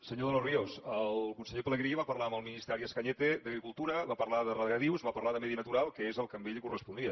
senyor de los ríos el conseller pelegrí va parlar amb el ministre arias cañete d’agricultura va parlar de regadius va parlar de medi natural que és el que a ell li corresponia